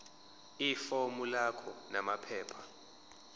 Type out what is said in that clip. ifomu lakho namaphepha